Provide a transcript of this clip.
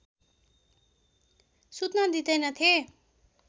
सुत्न दिँदैनथे